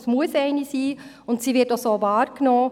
es muss eine sein, und sie wird auch so wahrgenommen.